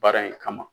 Baara in kama